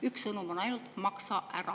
Üks sõnum ainult: "Maksa ära!"